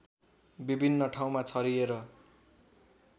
विभिन्न ठाउँमा छरिएर